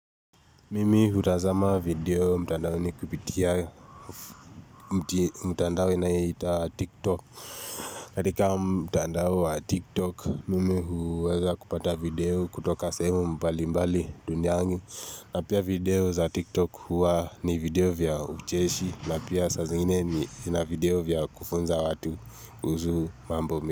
Mimi hutazama video mtandaoni kupitia mtandao inaitwa tiktok katika mtandao wa tiktok Mimi huweza kupata video kutoka sehemu mbali mbali duniani na pia video za tiktok huwa ni video vya ucheshi na pia saa zingine ni na video vya kufunza watu uhusu mambo.